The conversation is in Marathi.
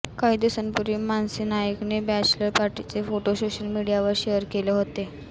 काही दिवसांपूर्वी मानसी नाईकने बॅचलर पार्टीचे फोटो सोशल मीडियावर शेअर केले होते